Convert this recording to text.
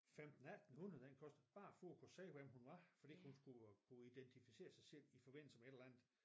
15 1800 den kostede bare for at kunne se hvem hun var fordi hun skulle kunne identificere sig selv i forbindelse med et eller andet